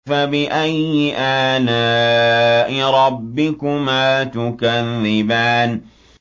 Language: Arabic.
فَبِأَيِّ آلَاءِ رَبِّكُمَا تُكَذِّبَانِ